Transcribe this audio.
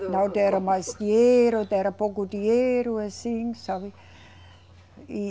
Não deram mais dinheiro, era pouco dinheiro, assim, sabe?